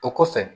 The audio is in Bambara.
O kɔfɛ